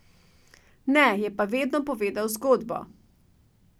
Ne, je pa vedno povedal zgodbo.